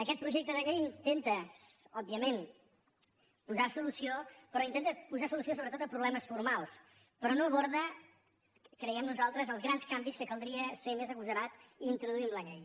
aquest projecte de llei intenta òbviament posar hi solució però intenta posar solució sobretot a problemes formals però no aborda creiem nosaltres els grans canvis que caldria ser més agosarat a introduir a la llei